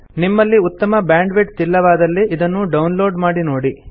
ನಿಮ್ಮಲ್ಲಿ ಉತ್ತಮ ಬ್ಯಾಂಡ್ವಿಡ್ತ್ ಇಲ್ಲವಾದಲ್ಲಿ ಇದನ್ನು ಡೌನ್ ಲೋಡ್ ಮಾಡಿ ನೋಡಿ